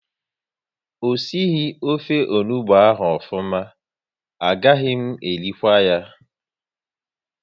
O sighi ofe onugbu ahụ ofuma, a gaghị m erikwu ya